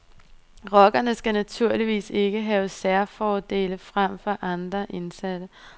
Rockerne skal naturligvis ikke have særfordele frem for andre indsatte.